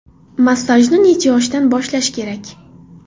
Massajni necha yoshdan boshlash kerak?